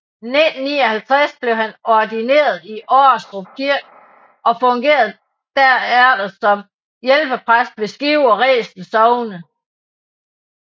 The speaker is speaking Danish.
I 1959 blev han ordineret i Årestrup Kirke og fungerede derefter som hjælpepræst ved Skive og Resen Sogne